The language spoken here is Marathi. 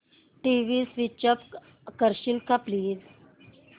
टीव्ही स्वीच ऑफ करशील का प्लीज